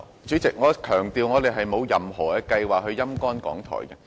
主席，我強調我們並沒有任何計劃"陰乾"港台。